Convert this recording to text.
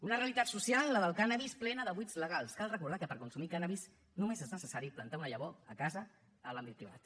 una realitat social la del cànnabis plena de buits legals cal recordar que per consumir cànnabis només és necessari plantar una llavor a casa en l’àmbit privat